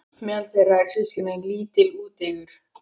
Meðal þeirra eru systkini- lítill, úteygur